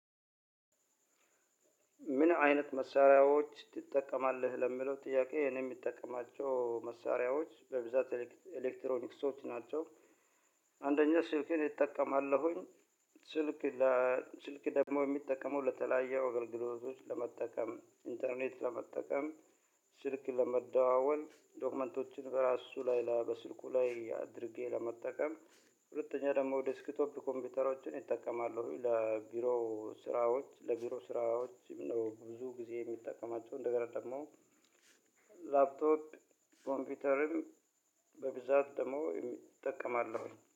ምን አይነት መሳሪያዎች ትጠቀማለህ ለሚለው ጥያቄ እኔ የምጠቀማቸው መሳሪያዎች በብዛት ኤሌክትሮኒክስዎች ናቸው። አንደኛ ስልኬን እጠቀማለሁኝ። ስልክ ስልክ ደግሞ የሚጠቀመው ለተለያዩ አገልግሎቶች ለመጠቀም ኢንተርኔት ለመጠቀም። ስልክ ለመደዋወል ዶክመንቶችን በራሱ ላይ በስልኩ ላይ አድርጌ ለመጠቀም። ሁለተኛ ደግሞ ዴስክቶፕ ኮምፒውተሮችን እጠቀማለሁ ለቢሮ ስራዎች ለቢሮ ስራዎች ነው። ብዙ ጊዜ የምጠቀማቸው እንደገና ደግሞ ላፕቶፕ ኮምፒውተርም። በብዛት ደግሞ እጠቀማለውኝ